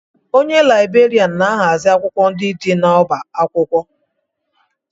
Onye Laịberịan na-ahazi akwụkwọ ndị dị n'ọbá akwụkwọ